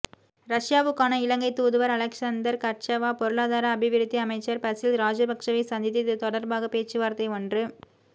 ரஷ்யாவுக்கான இலங்கை தூதுவர் Alexander Karchava பொருளாதார அபிவிருத்தி அமைச்சர் பசில் ராஜபக்ஷவை சந்தித்து இது தொடர்பாக பேச்சுவார்த்தை ஒன்று